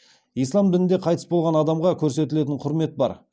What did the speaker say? ислам дінінде қайтыс болған адамға көрсетілетін құрмет бар